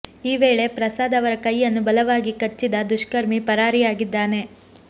ಈ ವೇಳೆ ಪ್ರಸಾದ್ ಅವರ ಕೈಯನ್ನು ಬಲವಾಗಿ ಕಚ್ಚಿದ ದುಷ್ಕರ್ಮಿ ಪರಾರಿಯಾಗಿದ್ದಾನೆ